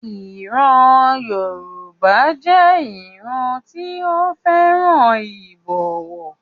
Ìran Yoruba jẹ́ ìran tí ó fẹ́ràn ìbọ̀wọ̀.